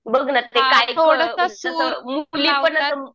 बघ ना ते काय मुली पण असं